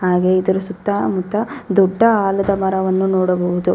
ಹಾಗೆ ಇದರ ಸುತ್ತ ಮುತ್ತ ದೊಡ್ಡ ಆಲದ ಮರವನ್ನು ನೋಡಬಹುದು.